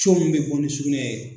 min bɛ bɔ ni sugunɛ ye.